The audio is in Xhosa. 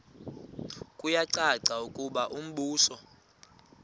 kuyacaca ukuba umbuso